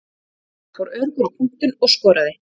Hann fór öruggur á punktinn og skoraði.